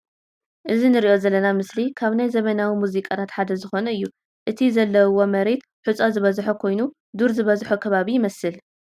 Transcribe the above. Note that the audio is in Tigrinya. እዚ እንርእዮ ዘለና ምስሊ ካብ ናይ ዘመናዊ ሙዚቃታት ሓደ ዝኮነ እዩ። እቲ ዘለውዋ መሬት ሑጻ ዝበዝሖ ኮይኑ ዱር ዝበዝሖ ከባቢ ይመስል።